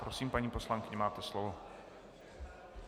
Prosím, paní poslankyně, máte slovo.